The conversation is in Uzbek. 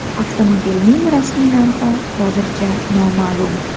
Avtomobilning rasmiy narxi hozircha noma’lum.